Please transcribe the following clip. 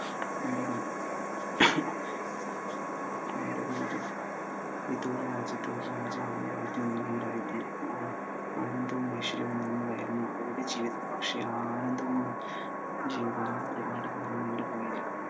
പണ്ട് വിദൂര രാജ്യത്തു ഒരു രാജാവുണ്ടായിരുന്നു. ആനന്ദവും മാനുഷികവും നിറഞ്ഞതായിരുന്നു അവരുടെ ജീവിതം. പക്ഷെ ആ ആനന്ദവും, ജീവിതവും ഒരുപാടു നാൾ നീണ്ടു പോയില്ല.